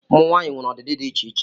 Ụmụ nwanyị nwere ọdịdị dị iche iche